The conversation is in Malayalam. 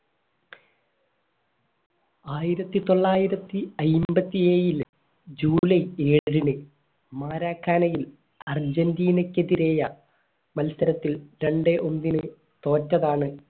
ആയിരത്തിത്തൊള്ളായിരത്തി അയ്ബത്തിഎയിൽ july ഏഴിന് മറക്കാനയിൽ അർജൻറീന ക്കെതിരെ മത്സരത്തിൽ രണ്ടേ ഒന്നിന് തോറ്റതാണ്